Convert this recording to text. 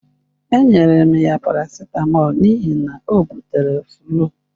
Enyere m ya Procold n'ihi na o butere flu.